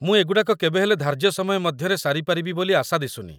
ମୁଁ ଏଗୁଡ଼ାକ କେବେହେଲେ ଧାର୍ଯ୍ୟ ସମୟ ମଧ୍ୟରେ ସାରିପାରିବି ବୋଲି ଆଶା ଦିଶୁନି